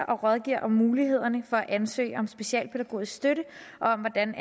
og rådgiver om mulighederne for at ansøge om specialpædagogisk støtte og om hvordan